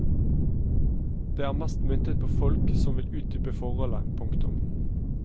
Det er mest myntet på folk som vil utdype forholdet. punktum